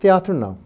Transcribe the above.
Teatro, não.